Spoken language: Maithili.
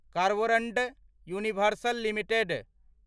Carborundum Universal limited